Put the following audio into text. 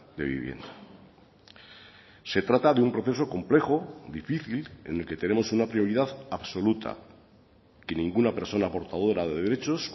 de vivienda se trata de un proceso complejo difícil en el que tenemos una prioridad absoluta que ninguna persona portadora de derechos